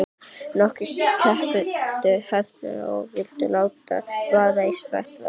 Nokkrir krepptu hnefana og vildu láta vaða í smetti varðanna.